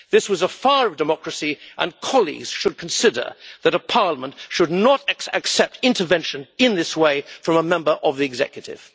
This was fire of democracy, and colleagues should consider that a Parliament should not accept intervention in this way, from a member of the executive.